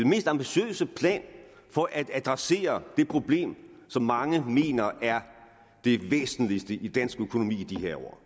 mest ambitiøse plan for at adressere det problem som mange mener er det væsentligste i dansk økonomi i de her år